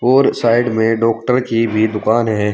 और साइड में डॉक्टर की भी दुकान है।